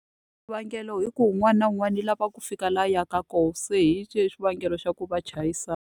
Xivangelo i ku un'wana na un'wana u lava ku fika laha a yaka kona se hi xona xivangelo xa ku va chayisana.